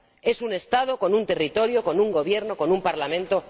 Es un Estado con un territorio, con un Gobierno, con un Parlamento.